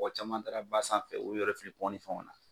Mɔgɔ caman taara ba sanfɛ u y'u yɛrɛ fili ni fɛnw na.